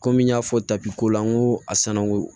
Komi n y'a fɔ tapi kolan ko a sanango